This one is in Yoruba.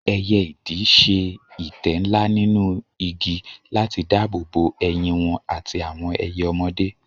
Ẹyẹ idì ṣe ìtẹ́ ńlá nínú igi láti dáàbò bo ẹyin wọn àti àwọn ẹyẹ ọmọdé.